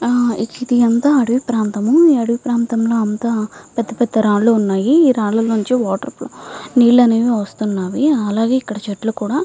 ఇది అంతా అడివి ప్రాంతం ఈ అడివి ప్రాంతం లో అంతా పెద్ద పెద్ద రాళ్ళూ వున్నాయ్ ఆ రాల నొంది నీళ్ళు కూడా వస్తునై పెద్ద పెద్ద చేతుల్లు వున్నాయ్.